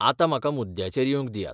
आतां म्हाका मुद्द्याचेर येवंक दियात.